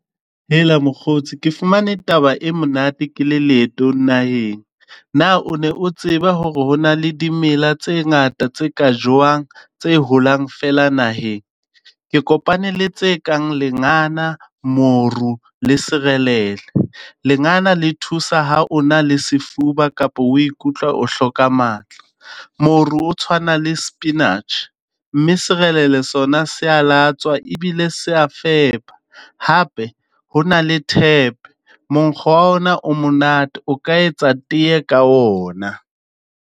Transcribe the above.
Hela mokgotsi ke fumane taba e monate ke le leetong naheng. Na o ne o tseba hore ho na le dimela tse ngata tse ka jewang tse holang fela naheng? Ke kopane le tse kang lengana, moru le serelele. Lengana le thusa ha ona le sefuba kapa o ikutlwe o hloka matla. Moru o tshwana le spinatjhe, mme serelele sona se a latswa e bile se a fepa. Hape hona le tephe monkgo wa yona o monate o ka etsa tee ka ona.